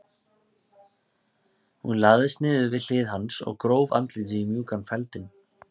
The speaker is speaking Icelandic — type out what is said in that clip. Hún lagðist niður við hlið hans og gróf andlitið í mjúkan feldinn.